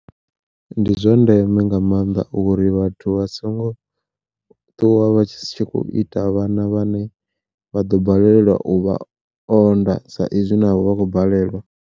Ndi zwa ndeme nga maanḓa uri vhathu vha songo ṱuwa vha tshi kho ita vhana vhane vha ḓo balelwa u vha o nda sa izwi navho vha khou balelwa.